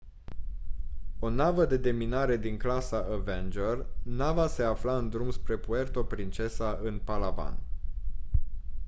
o navă de deminare din clasa avenger nava se afla în drum spre puerto princesa în palawan